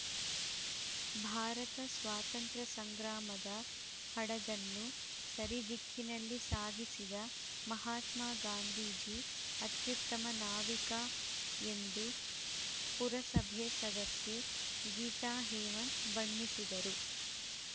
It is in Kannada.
ಭಾರತ ಸ್ವಾತಂತ್ರ್ಯ ಸಂಗ್ರಾಮದ ಹಡಗನ್ನು ಸರಿ ದಿಕ್ಕಿನಲ್ಲಿ ಸಾಗಿಸಿದ ಮಹಾತ್ಮಗಾಂಧೀಜಿ ಅತ್ಯುತ್ತಮ ನಾವಿಕ ಎಂದು ಪುರಸಭೆ ಸದಸ್ಯೆ ಗೀತಾಹೇಮಂತ್‌ ಬಣ್ಣಿಸಿದರು